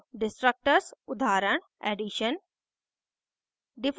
destructors उदाहरण ~ addition